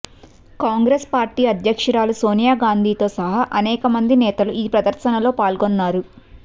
Congress party అధ్యక్షురాలు సోనియా గాంధీతో సహా అనేక మంది నేతలు ఈ ప్రదర్శనలో పాల్గొన్నారు